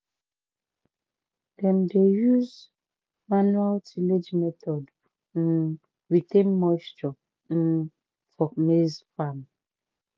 dem dey use manual tillage methods um retain moisture um for maize farm."